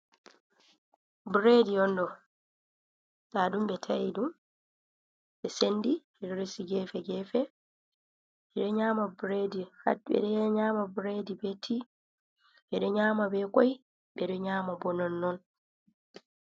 Bureedi on ɗo, ndaa ɗum ɓe ta'i ɗum, ɓe senndi ɓe ɗo resi gefe-gefe, ɓe ɗo nyaama bureedi hat, ɓe ɗo nyaama bureedi bee Ti, ɓe ɗo nyaama bee koy, ɓe ɗo nyaama boo nonnon.